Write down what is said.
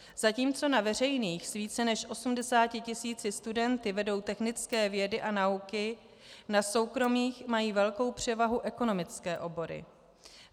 Zatímco na veřejných s více než 80 tisíci studenty vedou technické vědy a nauky, na soukromých mají velkou převahu ekonomické obory.